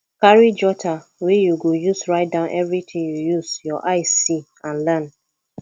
carry jotter wey you go use write down everything you use your eye see and learn